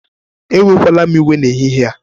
Ewekwala m iwe n'ehihie a